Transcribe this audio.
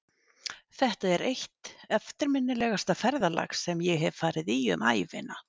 Þetta er eitt eftirminnilegasta ferðalag sem ég hef farið í um ævina.